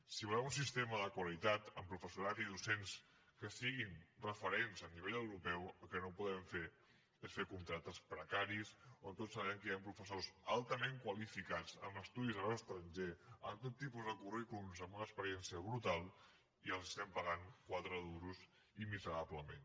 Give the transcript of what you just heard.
si volem un sistema de qualitat amb professorat i docents que siguin referents a nivell europeu el que no podem fer és fer contractes precaris on tots sabem que hi han professors altament qualificats amb estudis a l’estranger amb tot tipus de currículums amb una experiència brutal i els estiguem pagant quatre duros i miserablement